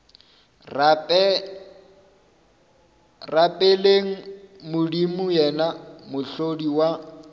rapeleng modimo yena mohlodi wa